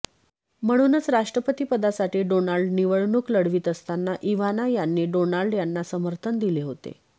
म्हणूनच राष्ट्रपतीपदासाठी डोनाल्ड निवडणूक लढवीत असताना इव्हाना यांनी डोनाल्ड यांना समर्थन दिले होते